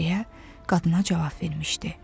deyə qadına cavab vermişdi.